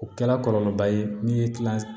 O kɛla kɔlɔlɔba ye min ye kilan